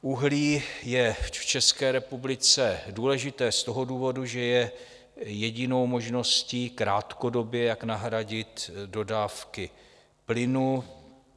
Uhlí je v České republice důležité z toho důvodu, že je jedinou možností krátkodobě, jak nahradit dodávky plynu.